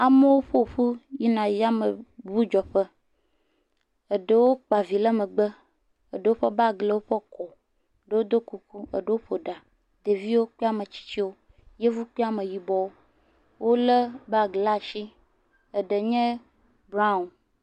Amewo ƒoƒu yina yameŋudzeƒe, eɖewo kpa vi ɖe megbe, Eɖewo ƒe bagi le woƒe kɔ, eɖewo ɖo kuku, eɖewo ƒo ɖa ɖeviwo kple ametsitsi, yevu kple ame yibɔ.